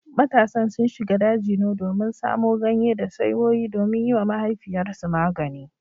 Matasan sun shiga daji ne domin samo ganye da saiwoyi domin yiwa mahaifiyarsu magani